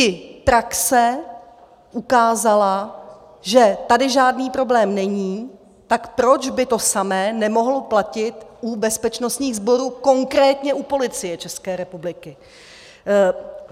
I praxe ukázala, že tady žádný problém není, tak proč by to samé nemohlo platit u bezpečnostních sborů, konkrétně u Policie České republiky.